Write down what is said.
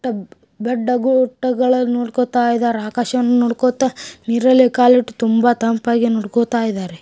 ಗುಡ್ಡ ಬೆಟ್ಟ ಗುಡ್ಡಗಳನ್ನ ನೋಡ್ಕೋತಾ ಇದ್ದಾರೆ ಆಕಾಶವನ್ನ ನೋಡ್ಕೋತಾ ನೀರಲ್ಲೇ ಕಾಲಿಟ್ಟು ತುಂಬ ತಂಪಾಗಿ ನೋಡ್ಕೋತಾ ಇದ್ದಾರೆ.